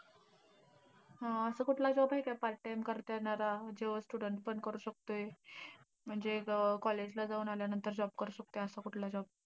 असा कुठला job हाय का, part time करता येणारा, जो student पण करू शकतोय. म्हणजे अं college ला जाऊन आल्यानंतर job करू शकतोय, असा कुठला job?